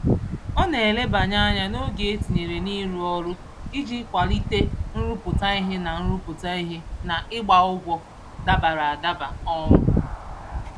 Ọ na-elebanye anya n'oge e tinyere n'ịrụ ọrụ iji kwalite nrụpụta ihe na nrụpụta ihe na ịgba ụgwọ dabara adaba. um